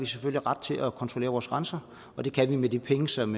selvfølgelig ret til at kontrollere vores grænser det kan vi med de penge som